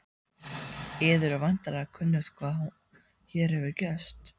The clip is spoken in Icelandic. Yður er væntanlega kunnugt hvað hér hefur gerst.